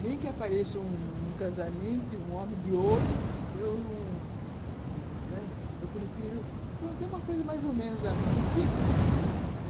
Nem que apareça um um um casamento e um homem de ouro, eu não, né, eu prefiro ter uma coisa mais ou menos assim, simples, né.